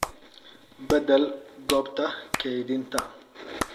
Beddel goobta kaydinta.